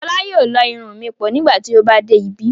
Fọla yóò lọ́ irun mi pọ̀ nígbà tí ó bá dé ibí.